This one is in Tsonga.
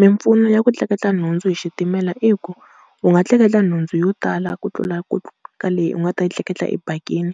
Mimpfuno ya ku tleketla nhundzu hi xitimela i ku, u nga tleketla nhundzu yo tala ku tlula ka leyi u nga ta yi tleketla ebakini,